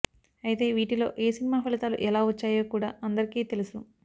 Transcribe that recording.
అయితే వీటిలో ఏ సినిమా ఫలితాలు ఎలా వచ్చాయో కూడా అందరికీ తెలుసు